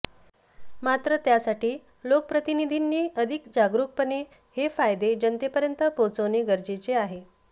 मात्र त्यासाठी लोकप्रतिनिधींनी अधिक जागरूकपणे हे फायदे जनतेपर्यत पोहचवणे गरजेचे आहे